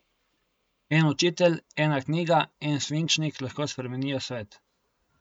En učitelj, ena knjiga, en svinčnik, lahko spremenijo svet.